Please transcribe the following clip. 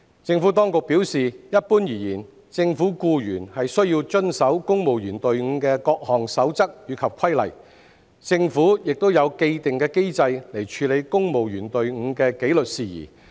政府當局表示，一般而言，政府僱員須遵守公務員隊伍的各項守則及規例，政府亦有既定機制處理公務員隊伍的紀律事宜。